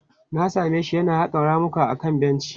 Na same shi yana haƙa ramuka akan benci.